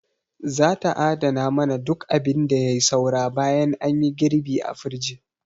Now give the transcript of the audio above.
Za ta adana mana duk abin da yai saura bayan anyi girɓi a firij.